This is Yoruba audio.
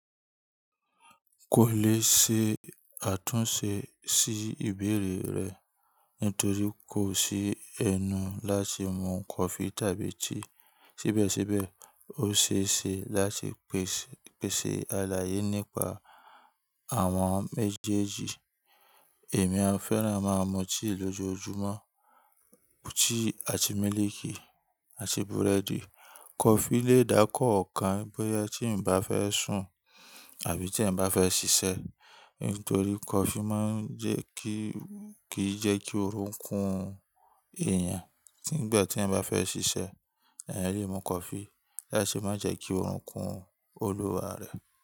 Kò lè ṣe àtúnṣe sí ìbéèrè rẹ nítorí kò sí ẹnu láti mu coffee tàbí tea. Síbẹ̀síbẹ̀, o ṣeé ṣe láti pèsè àlàyé nípa àwọn méjèèjì. Èmi, a fẹ́ràn máa mu tea lójoojúmọ́, tea àti mílìkì àti búrẹ́dì. Kofi lè dákọ́ ọ̀kan bóyá tí ǹ bá fẹ́ sùn àbí tí eyan bá fẹ́ ṣiṣẹ́. Nítorí kofi máa ń jẹ́ kí, kì í jẹ́ kí orun kún èèyàn. Nígbà tí eyán fẹ́ ṣiṣẹ́, ẹ̀ lè mu coffee láti má jẹ́ kí orun kún olúwa rẹ̀.